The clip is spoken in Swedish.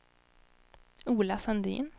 Ola Sandin